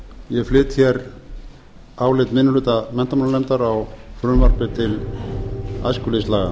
forseti ég flyt álit minni hluta menntamálanefndar á frumvarpi til æskulýðslaga